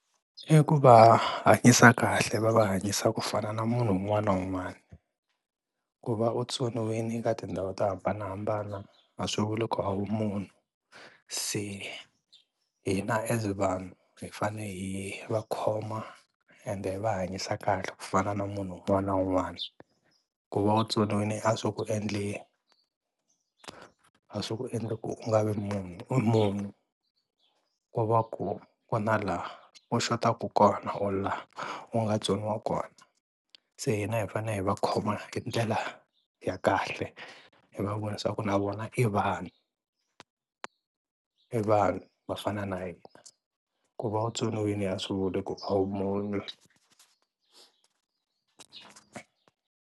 I ku va hanyisa kahle va va hanyisa ku fana na munhu un'wana na un'wana, ku va u tsoniwini eka tindhawu to hambanahambana a swi vuli ku a wu munhu se hina as vanhu hi fane hi va khoma ende hi va hanyisa kahle ku fana na munhu un'wana na un'wana. Ku va u tsoniwini a swi ku endli a swi ku endla ku u nga vi munhu u munhu ko va ku ku na laha u xotaka kona or laha u nga tsoniwa kona, se hina hi fanele hi va khoma hi ndlela ya kahle hi va vonisa ku na vona i vanhu i vanhu va fana na hina ku va u tsoniwini a swi vuli ku a wu munhu.